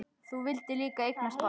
Þú vildir líka eignast barn.